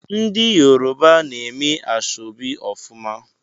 Ndị Yoruba na-eme ashọbi ofuma.